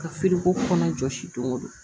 Ka feere ko kɔnɔna jɔsi don o don